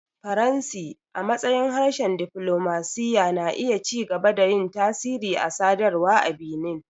Faransi, a matsayin harshen diflomasiyya, na iya ci gaba da yin tasiri a sadarwa a Benin.